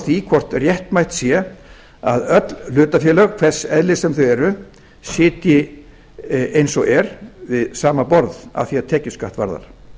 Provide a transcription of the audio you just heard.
því hvort réttmætt sé að öll hlutafélög hvers eðlis sem þau eru sitji eins og er við sama borð að því er tekjuskatt varðar